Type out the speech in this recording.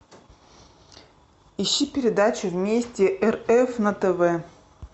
ищи передачу вместе рф на тв